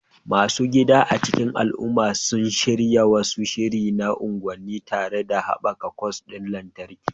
Masu gida a cikin al'umma sun shirya wani shiri na unguwanni, tare da haɓaka kwas ɗin lantarki